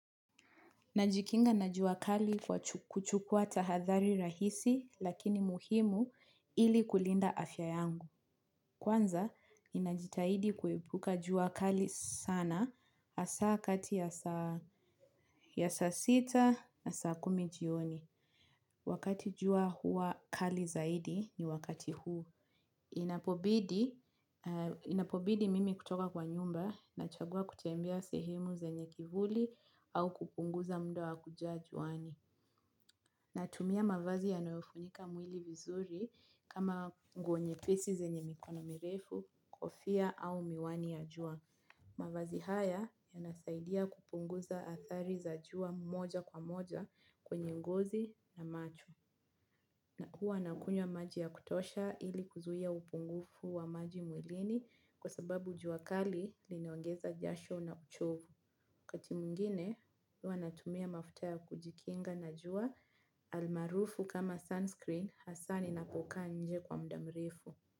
Najikinga na jua kali kwa kuchukuwa tahadhari rahisi lakini muhimu ili kulinda afya yangu. Kwanza, ninajitahidi kuepuka jua kali sana hasa kati ya saa sita na saa kumi jioni. Wakati jua huwa kali zaidi ni wakati huo, inapobidi. Inapobidi mimi kutoka kwa nyumba nachagua kutembea sehemu zenye kivuli au kupunguza muda wa kukaa juani. Natumia mavazi yanayofunika mwili vizuri kama nguo nyepesi zenye mikono mirefu, kofia au miwani ya jua. Mavazi haya yanasaidia kupunguza athari za jua moja kwa moja kwenye ngozi na macho. Nakuwa nakunywa maji ya kutosha ili kuzuia upungufu wa maji mwilini kwa sababu jua kali linaongeza jasho na uchovu. Wakati mwingine huwa natumia mafuta ya kujikinga na jua almaarufu kama sunscreen hasa ninapokaa nje kwa muda mrefu.